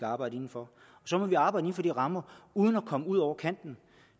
arbejde inden for og så må vi arbejde inden for de rammer uden at komme ud over kanten